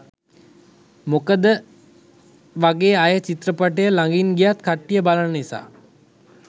මොකදවගේ අය චිත්‍රපටිය ලඟින් ගියත් කට්ටිය බලන නිසා.